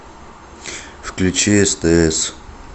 включи стс